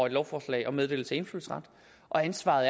lovforslag om meddelelse af indfødsret og ansvaret